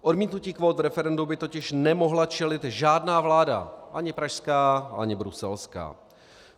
Odmítnutí kvót v referendu by totiž nemohla čelit žádná vláda, ani pražská, ani bruselská.